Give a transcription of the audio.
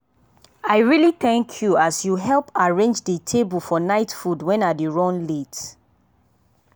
i really thank you as you help arrange dey table for night food when i dey run late.